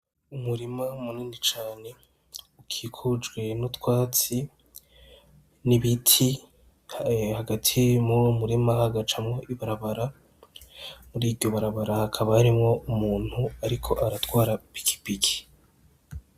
Umurima munini cane ukikujwe nutwatsi n'ibiti hagati muruwo murima hagacamwo ibarabara ,muri iryo barabara hakaba harimwo umutu ariko aratwara ipikipiki.